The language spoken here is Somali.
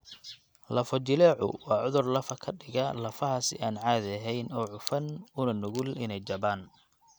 Lafo-jileecu waa cudur lafo ka dhiga lafaha si aan caadi ahayn oo cufan una nugul inay jabaan (jabka).